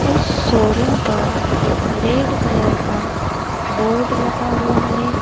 उस शोरूम पर red colour का बोर्ड लगा हुआ है।